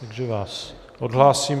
Takže vás odhlásím.